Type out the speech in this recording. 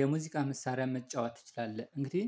የሙዚቃ መሳሪያ መጫወት ትችላለህ እንግዲህ